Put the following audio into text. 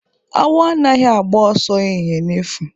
Awọ anaghị agba ọsọ ehịhịe n'efu